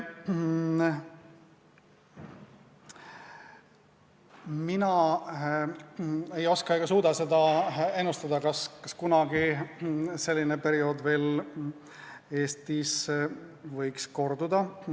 Mina ei oska ega suuda ennustada, kas selline periood võiks Eestis kunagi veel korduda.